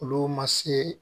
Olu ma se